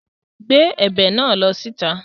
Gbé ẹ̀bà náà lọ síta!